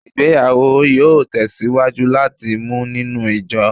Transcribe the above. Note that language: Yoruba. Igbeyawo yoo tesiwaju lati mu ninu ijo